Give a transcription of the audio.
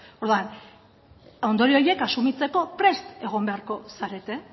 orduan ondorio horiek asumitzeko prest egon beharko zarete